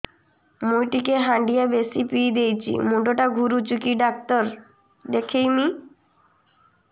ମୁଇ ଟିକେ ହାଣ୍ଡିଆ ବେଶି ପିଇ ଦେଇଛି ମୁଣ୍ଡ ଟା ଘୁରୁଚି କି ଡାକ୍ତର ଦେଖେଇମି